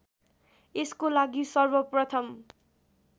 यसको लागि सर्वप्रथम